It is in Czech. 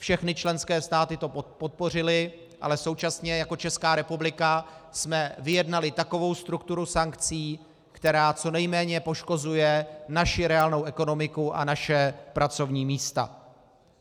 Všechny členské státy to podpořily, ale současně jako Česká republika jsme vyjednali takovou strukturu sankcí, která co nejméně poškozuje naši reálnou ekonomiku a naše pracovní místa.